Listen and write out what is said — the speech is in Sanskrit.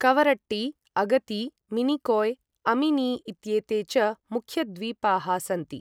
कवरट्टी, अगती, मिनिकोय, अमिनी इत्येते च मुख्यद्वीपाः सन्ति।